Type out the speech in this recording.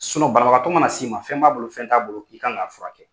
banabagatɔ mana s'i ma fɛn b'a bolo fɛn t'a bolo i kan ka fura kɛ.